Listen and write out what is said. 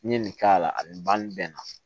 N'i ye nin k'a la a bɛ ban nin bɛɛ na